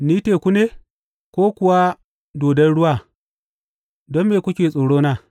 Ni teku ne, ko kuwa dodon ruwa, don me kake tsaro na?